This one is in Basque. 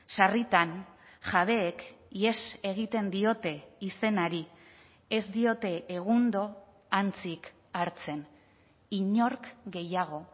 sarritan jabeek ihes egiten diote izenari ez diote egundo antzik hartzen inork gehiago